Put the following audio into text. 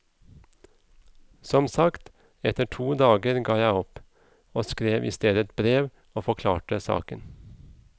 Som sagt, etter to dager ga jeg opp, og skrev i stedet et brev og forklarte saken.